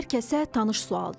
Hər kəsə tanış sualdır.